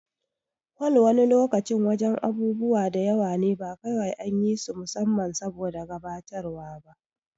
Hol wani lokacin wajen abubuwa da yawa ne ba kawai an yi su musamman saboda gabatarwa ba